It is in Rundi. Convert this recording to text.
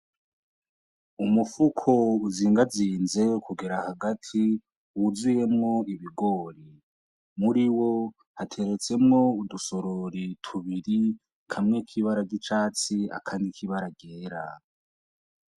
Umufuko uzingazinze kugera hagati wuzuyemwo ibigori muri wo hateretsemwo udusorori tubiri kamwe k'ibara gicatsi akani kibaragera.